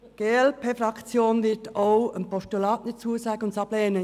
Die glp-Fraktion wird auch einem Postulat nicht zustimmen, sondern dieses ablehnen.